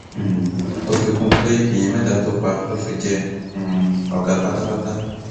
um ó fi kún un pé èèyàn mẹta tó pa ló fi jẹ um ọgá pátápátá